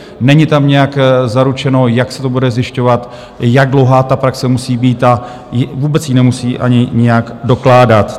Není tam nijak zaručeno, jak se to bude zjišťovat, jak dlouhá ta praxe musí být a vůbec ji nemusí ani nijak dokládat.